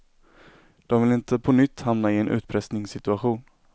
De vill inte på nytt hamna i en utpressningssituation.